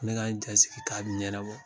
Ne ka n jasigi k'a bɛ ɲɛnabɔ